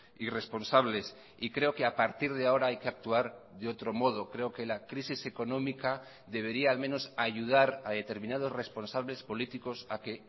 irresponsables y creo que a partir de ahora hay que actuar de otro modo creo que la crisis económica debería al menos ayudar a determinados responsables políticos a que